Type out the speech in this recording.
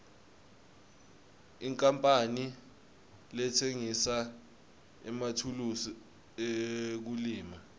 inkapani letsengisa emathulusi ekulima